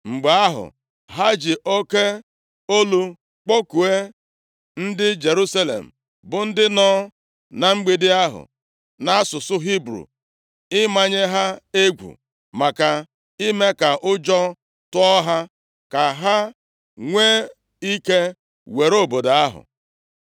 Mgbe ahụ, ha ji oke olu kpọkuo ndị Jerusalem, bụ ndị nọ na mgbidi ahụ nʼasụsụ Hibru, imenye ha egwu nakwa ime ka ụjọ tụọ ha, ka ha nwee ike were obodo ahụ.